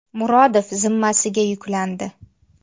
Murodov zimmasiga yuklandi.